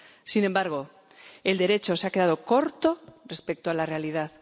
Sin embargo, el Derecho se ha quedado corto respecto a la realidad.